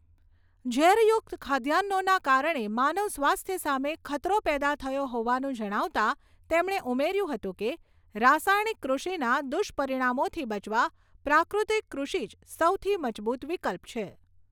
ઝેરયુક્ત ખાદ્યાન્નોના કારણે માનવ સ્વાસ્થ્ય સામે ખતરો પેદા થયો હોવાનું જણાવતાં તેમણે ઉમેર્યું હતું કે રાસાયણિક કૃષિના દુષ્પરિણામોથી બચવા પ્રાકૃતિક કૃષિ જ સૌથી મજબૂત વિકલ્પ છે.